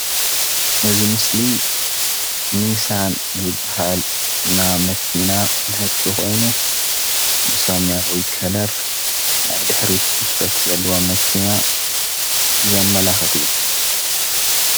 እዚ ምስሊ ኒሳን ዝበሃል ናይ መኪና ምህርቲ ኮይኑ ብሰማያዊ ከለር ናይ ድሕሪት ክፍተት ዘለዎ መኪና ዘመላክት እዩ።